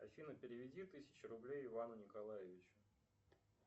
афина переведи тысячу рублей ивану николаевичу